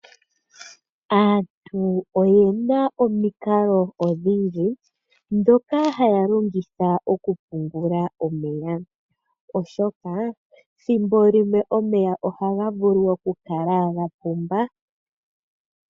Aantu oyena omikalo odhindji dhoka haya longitha okupungula omeya, oshoka thimbo limwe omeya ohaga vulu oku kala gapumba.